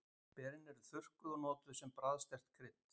Berin eru þurrkuð og notuð sem bragðsterkt krydd.